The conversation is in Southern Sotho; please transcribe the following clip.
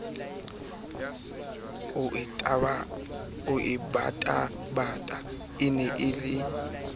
eo tabataba e ne e